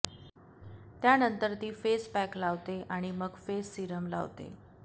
त्यानंतर ती face pack लावते आणि मग फेस सिरम लावते